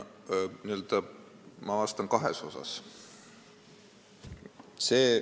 Ma vastan kahes osas.